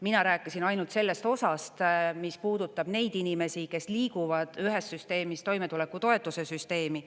Mina rääkisin ainult sellest osast, mis puudutab neid inimesi, kes liiguvad ühest süsteemist toimetulekutoetuse süsteemi.